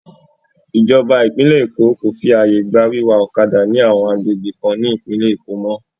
Ìjọba ìpínlẹ̀ Èkó kò fi àyè gba wíwa ọ̀kadà ní àwọn agbègbè kan ní ìpínlẹ̀ Èkó mọ́.